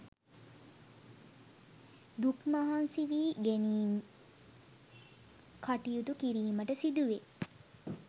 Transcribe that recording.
දුක් මහන්සි වී ඉගෙනීම් කටයුතු කිරීමට සිදුවේ.